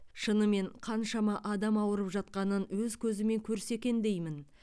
шынымен қаншама адам ауырып жатқанын өз көзімен көрсе екен деймін